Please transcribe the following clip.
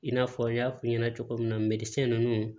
I n'a fɔ n y'a f'i ɲɛna cogo min na ninnu